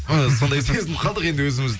ы сондай сезініп қалдық енді өзіміз